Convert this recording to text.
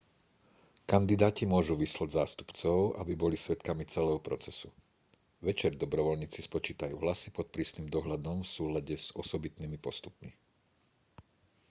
kandidáti môžu vyslať zástupcov aby boli svedkami celého procesu večer dobrovoľníci spočítajú hlasy pod prísnym dohľadom v súlade s osobitnými postupmi